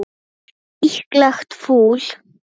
Líklegt fúl.